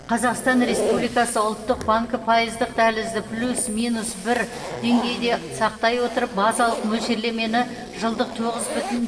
қазақстан республикасы ұлттық банкі пайыздық дәлізді плюс минус бір деңгейінде сақтай отырып базалық мөлшерлемені жылдық тоғыз бүтін